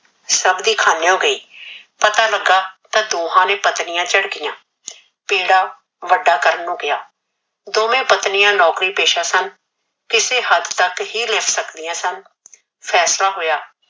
ਸਬ ਦੀ ਖਾਨੇਓ ਗਯੀ ਪਤਾ ਲਗਾ ਤਾ ਦੋਹਾ ਨੇ ਪਤਨੀਆ ਝਿੜਕਿਆ ਪੇੜਾ ਵਡਾ ਕਰਨ ਨੂ ਕਿਹਾ ਦੋਵੇ ਪਤਨੀਆ ਲੇਖਾ ਪੇਸ਼ਾ ਸਨ ਕਿਸੇ ਹਦ ਤਕ ਹੀ ਲਿਖ ਸਕਦੀਆ ਸਨ ਫੈਸਲਾ ਹੋਯਾ